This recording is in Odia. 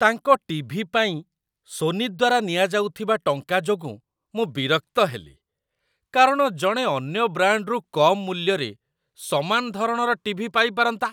ତାଙ୍କ ଟି.ଭି. ପାଇଁ ସୋନି ଦ୍ୱାରା ନିଆଯାଉଥିବା ଟଙ୍କା ଯୋଗୁଁ ମୁଁ ବିରକ୍ତ ହେଲି, କାରଣ ଜଣେ ଅନ୍ୟ ବ୍ରାଣ୍ଡରୁ କମ୍ ମୂଲ୍ୟରେ ସମାନ ଧରଣର ଟି.ଭି. ପାଇପାରନ୍ତା ।